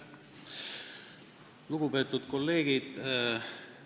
Lugupeetud kolleegid!